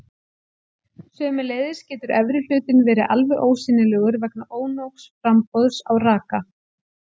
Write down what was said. Sömuleiðis getur efri hlutinn verið alveg ósýnilegur vegna ónógs framboðs á raka.